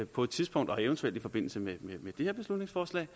på et tidspunkt og eventuelt i forbindelse med det her beslutningsforslag